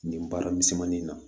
Nin baara misɛnmanin na